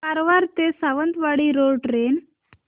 कारवार ते Sawantwadi road train